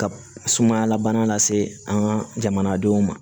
Ka sumaya lab se an ka jamanadenw ma